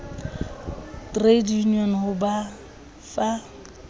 trade unions ho ba fa